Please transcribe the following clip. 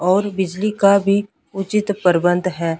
और बिजली का भी उचित परबंध है।